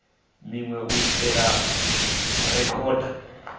minwe u itela u rekhoda